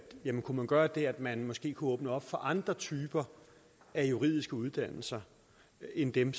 man kunne gøre det at man måske kunne åbne op for andre typer af juridiske uddannelser end dem